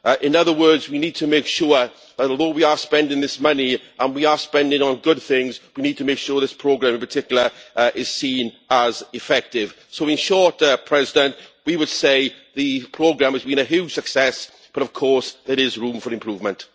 In other words we need to make sure that although we are spending this money and we are spending it on good things, we need to make sure this programme in particular is seen as effective. So in short President, we would say the programme has been a huge success but of course there is room for improvement.